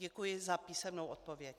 Děkuji za písemnou odpověď.